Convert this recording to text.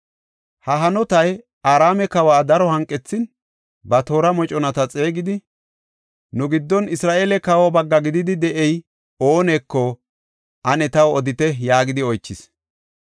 Ha hanotay Araame kawa daro hanqethin, ba toora moconata xeegidi, “Nu giddon Isra7eele kawa bagga gididi de7ey ooneko ane taw odite” yaagidi oychis.